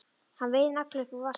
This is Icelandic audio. Hann veiðir nagla upp úr vasanum.